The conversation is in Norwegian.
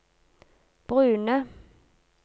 brune